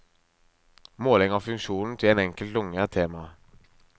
Måling av funksjonen til en enkelt lunge er temaet.